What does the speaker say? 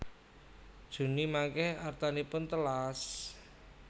Juni mangke artanipun telas?